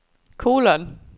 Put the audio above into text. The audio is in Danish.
kolon